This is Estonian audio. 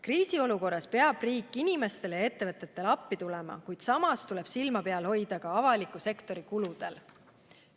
Kriisiolukorras peab riik inimestele ja ettevõtetele appi tulema, kuid samas tuleb silma peal hoida ka avaliku sektori kuludel.